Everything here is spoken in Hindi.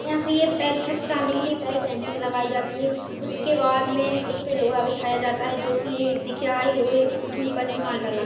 या फिर पैर छत डालने के लिए पहले सेटिंग लगाई जाती है उसके बाद में उसपे लोहा बिछाया जाता है जो कि ये दिख रहा है लोहे पे के ऊपर से माल डाला--